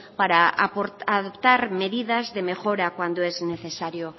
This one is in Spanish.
para adoptar medidas de mejora cuando es necesario